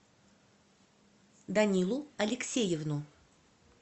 данилу алексеевну